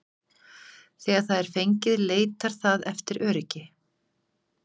Þegar það er fengið leitar það eftir öryggi.